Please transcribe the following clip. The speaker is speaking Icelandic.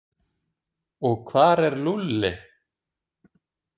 Og hvar er Lúlli?